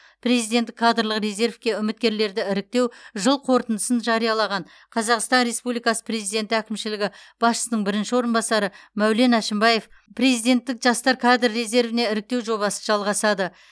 президенттік кадрлық резервке үміткерлерді іріктеу жыл қорытындысын жариялаған қазақстан республикасы президенті әкімшілігі басшысының бірінші орынбасары мәулен әшімбаев президенттік жастар кадр резервіне іріктеу жобасы жалғасады